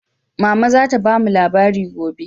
Mama za ta bamu labari gobe.